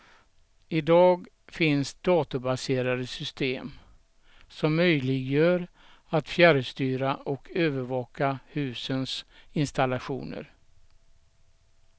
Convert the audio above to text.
Idag finns datorbaserade system, som möjliggör att fjärrstyra och övervaka husens installationer.